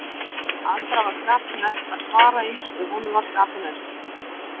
Andra var skapi næst að svara eins og honum var skapi næst